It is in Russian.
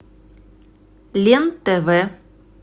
лен тв